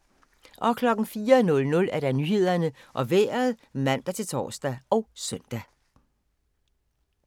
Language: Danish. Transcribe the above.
04:00: Nyhederne og Vejret (man-tor og søn)